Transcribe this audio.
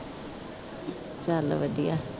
ਚੱਲ ਵਧੀਆ